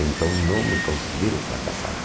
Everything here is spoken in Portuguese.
Então, não me considero um fracassado.